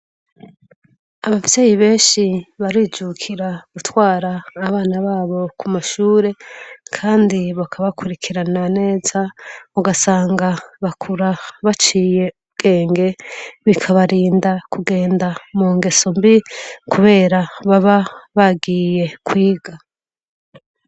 Abavyeyi benshi barijukira gutwara abana babo ku mashure kandi bakabakurikirana neza ugasanga bakura baciye ubwenge bikabarinda kugenda mu ngesombi kubera baba bagiye kwiga.